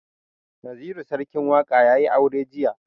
Naziru sarkin waƙa ya yi aure jiya.